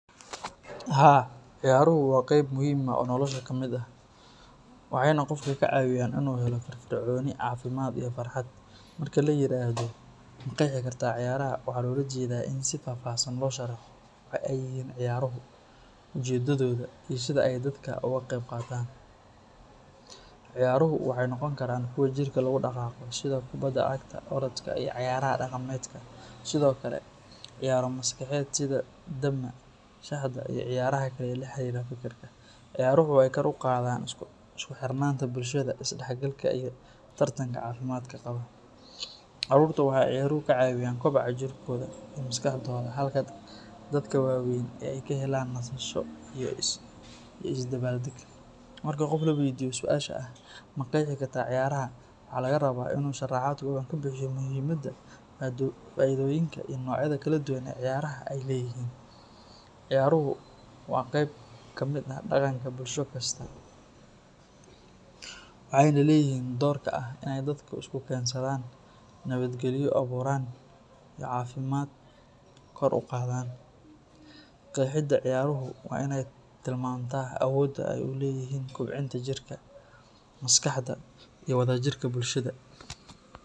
Haa, ciyaaruhu waa qayb muhiim ah oo nolosha ka mid ah, waxayna qofka ka caawiyaan inuu helo firfircooni, caafimaad iyo farxad. Marka la yiraahdo ma qeexi kartaa ciyaaraha, waxaa loola jeedaa in si faahfaahsan loo sharaxo waxa ay yihiin ciyaaruhu, ujeedadooda, iyo sida ay dadka uga qeyb qaataan. Ciyaaruhu waxay noqon karaan kuwo jirka lagu dhaqaaqo sida kubbadda cagta, orodka, iyo cayaaraha dhaqameedka, sidoo kale ciyaaro maskaxeed sida dama, shaxda, iyo ciyaaraha kale ee la xiriira fikirka. Ciyaaruhu waxay kor u qaadaan isku xirnaanta bulshada, isdhexgalka, iyo tartanka caafimaadka qaba. Carruurta waxay ciyaaruhu ka caawiyaan kobaca jirkooda iyo maskaxdooda, halka dadka waaweyna ay ka helaan nasasho iyo isdabaaldeg. Marka qof la weydiiyo su’aasha ah “ma qeexi kartaa ciyaaraha?”, waxaa laga rabaa inuu sharaxaad kooban ka bixiyo muhiimadda, faa’iidooyinka, iyo noocyada kala duwan ee ciyaaraha ay leeyihiin. Ciyaaruhu waa qayb ka mid ah dhaqanka bulsho kasta waxayna leeyihiin doorka ah inay dadka isku keensadaan, nabadgelyo abuuraan, iyo caafimaad kor u qaadaan. Qeexida ciyaaruhu waa in ay tilmaantaa awoodda ay u leeyihiin kobcinta jirka, maskaxda, iyo wadajirka bulshada.